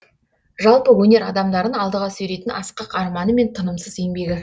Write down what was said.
жалпы өнер адамдарын алдыға сүйрейтін асқақ арманы мен тынымсыз еңбегі